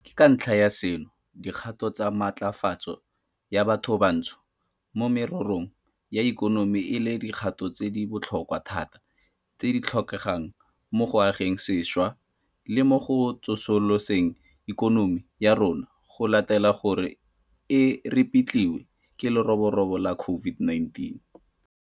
Ke ka ntlha ya seno dikgato tsa matlafatso ya bathobantsho mo mererong ya ikonomi e leng dikgato tse di botlhokwa thata tse di tlhokegang mo go ageng sešwa le mo go tsosoloseng ikonomi ya rona go latela gore e repitliwe ke leroborobo la COVID-19.